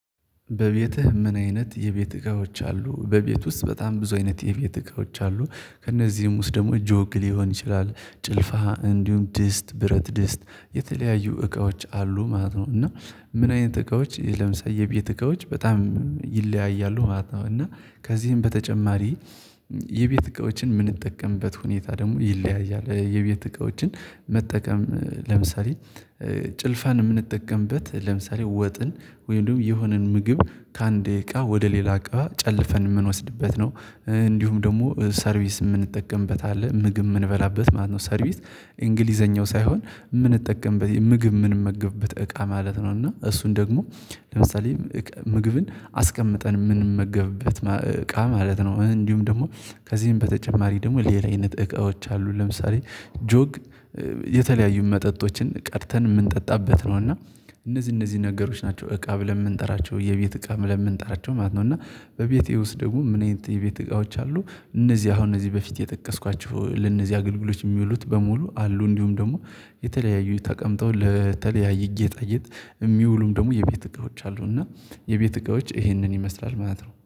"በቤትህ ምን አይነት የቤት እቃዎች አሉ?" በቤት ውስጥ በጣም ብዙ አይነት የቤት እቃዎች አሉ። ከእነዚህም ውስጥ ደግሞ ጆግ ሊሆን ይችላል ጭልፋ እንዲሁም ድስት ብረት ድስት የተለያዩ እቃዎች አሉ ማለት ነው፤ እና ምን አይነት እቃዎች ለምሳዬ የቤት እቃዎች በጣም ይለያያሉ ማለት ነው፤ እና ከዚህም በተጨማሪ የቤት እቃዎችን የምንጠቀምበት ሁኔታ ደግሞ ይለያያል የቤት እቃዎችን መጠቀም ለምሳሌ ጭልፋን የምንጠቀምበት ለምሳሌ ወጥን ወይም ደግሞ የሆነን ምግብ ከአንድ እቃ ወደ ሌላ እቃ ጨልፈን የምንወስድበት ነው። እንዲሁም ደግሞ ሰርቪስ የምንጠቀምበት አለ። ምግብ የምንበላበት ማለት ነው ሰርቪስ እንግሊዘኛው ሳይሆን የምንጠቀምበት የምግብ የምንመገብበት እቃ ማለት ነው፤ እና እሱን ደግሞ ለምሳሌ ምግብን አስቀምጠን የምንመገብበት እቃ ማለት ነው። እንዲሁም ደግሞ ከዚህም በተጨማሪ ደግሞ ሌላ አይነት እቃዎች አሉ ለምሳሌ ጆግ የተለያዩ መጠጦችን ቀድተን የምንጠጣበት ነው፤ እና እነዚህ እነዚህ ነገሮች ናቸው እቃ ብለን የምንጠራቸው የቤት እቃ ምንጣራቸው ማለት ነው፤ እና በቤቴ ውስጥ ደግሞ ምን አይነት የቤት እቃዎች አሉ እነዚህ አሁን እነዚህ በፊት የጠቀስኳቸው ለእነዚህ አገልግሎች የሚውሉት በሙሉ አሉ እንዲሁም ደግሞ የተለያዩ ተቀምጠው ለተለያየ ጌጣ ጌጥ የሚውሉም ደግሞ የቤት እቃዎች አሉ፤ እና የቤት እቃዎች ይሄንን ይመስላል ማለት ነው።